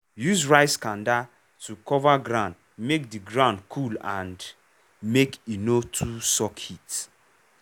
use rice kanda to cover ground make di ground cool and make e no too suck heat.